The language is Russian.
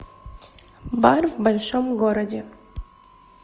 бар в большом городе